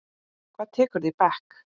Hvað tekurðu í bekk?